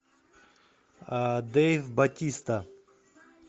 дэйв батиста